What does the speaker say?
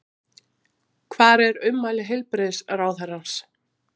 Hvar er ummæli heilbrigðisráðherrans?